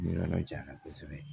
Yɔrɔ jan na kosɛbɛ